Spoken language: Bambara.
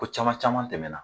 Ko caman caman tɛmɛna